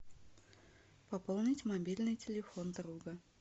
пополнить мобильный телефон друга